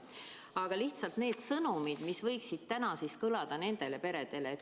Aga millised on sõnumid, mida võiks täna nendele peredele saata?